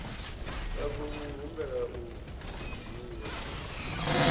a khou humbela u dzhiwa